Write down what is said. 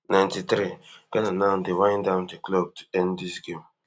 ninety-threeghana now dey wind down di clock to end dis game